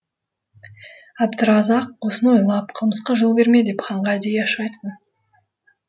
әбдіразақ осыны ойлап қылмысқа жол берме деп ханға әдейі ашық айтқан